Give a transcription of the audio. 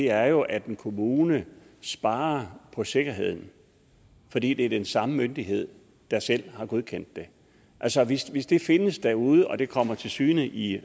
er jo at en kommune sparer på sikkerheden fordi det er den samme myndighed der selv har godkendt det altså hvis hvis det findes derude og det kommer til syne i